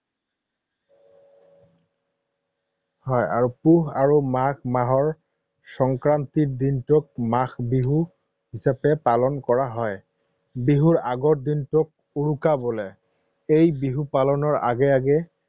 হয় আৰু পুহ আৰু মাঘ মাহৰ সংক্ৰান্তিৰ দিনটোত মাঘ বিহু হিচাপে পালন কৰা হয়। বিহুৰ আগৰ দিনটোক উৰুকা বোলে। এই বিহু পালনৰ আগে আগে